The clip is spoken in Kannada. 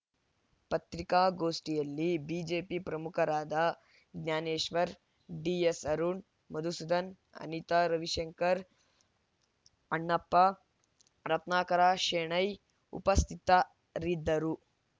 ಪತ್ರಿಕಾಗೋಷ್ಠಿಯಲ್ಲಿ ಬಿಜೆಪಿ ಪ್ರಮುಖರಾದ ಜ್ಞಾನೇಶ್ವರ್‌ ಡಿಎಸ್‌ ಅರುಣ್‌ ಮಧುಸೂದನ್‌ ಅನಿತಾ ರವಿಶಂಕರ್‌ ಅಣ್ಣಪ್ಪ ರತ್ನಾಕರ ಶೆಣೈ ಉಪಸ್ಥಿತರಿದ್ದರು